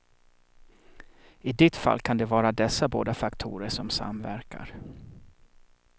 I ditt fall kan det vara dessa båda faktorer som samverkar.